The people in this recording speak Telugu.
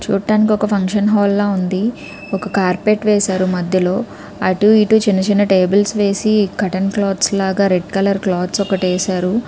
చూడ్డానికి ఒక ఫంక్షన్ హాల్ లాగ ఉంది ఒక కార్పెట్ వేశారు మధ్యలో అటు ఇటు చిన్న చిన్న టేబుల్స్ వేసి కర్టెన్ క్లోత్ లాగ రెడ్ కలర్ క్లోత్ ఒకటి ఏసారు --